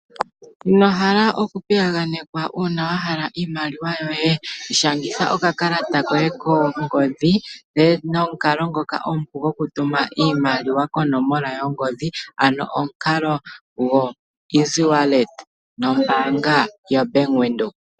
O wuli ino hala oku piyaganekwa uuna wahala iimaliwa ? Shangitha okakalata koye kongodhi no mu kalo ngoka omupu gokutuma iimaliwa konomola yongodhi ,ano nomukalo gokutuma oshimaliwa go easy wallet nombaanga yo Bank windhoek.